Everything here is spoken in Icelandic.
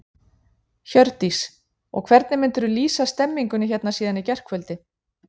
Hjördís: Og hvernig myndir þú lýsa stemmingunni hérna síðan í gærkvöldi?